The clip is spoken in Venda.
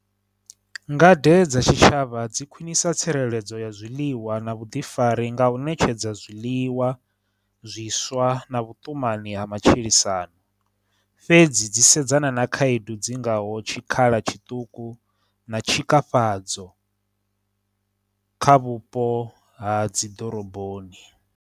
Ngade dza tshitshavha dzi khwinisa tsireledzo ya zwiḽiwa na vhuḓifari nga u ṋetshedza zwiḽiwa zwiswa na vhutumani ha matshilisano fhedzi, dzi sedzana na khaedu dzingaho tshikhala tshiṱuku, na tshikafhadza kha vhupo ha dziḓoroboni.